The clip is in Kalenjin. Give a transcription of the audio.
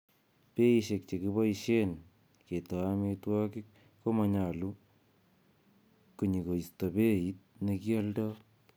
Beishek chekiboishen keto amitwogik komonyolu konyikosto beit nekioldo.